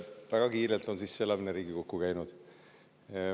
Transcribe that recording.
Väga kiirelt on sisseelamine Riigikokku käinud.